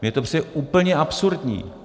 Mně to přijde úplně absurdní.